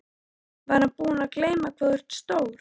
Ég var búin að gleyma hvað þú ert stór.